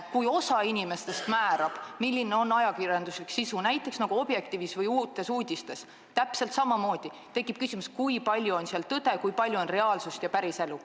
Kui osa inimestest määrab, milline on ajakirjanduslik sisu, näiteks nagu Objektiivis või Uutes Uudistes, siis tekib täpselt samamoodi küsimus, kui palju on seal tõde, kui palju on reaalsust ja päriselu.